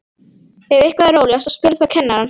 Ef eitthvað er óljóst spurðu þá kennarann.